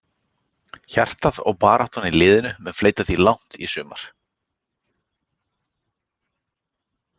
Hjartað og baráttan í liðinu mun fleyta því langt í sumar.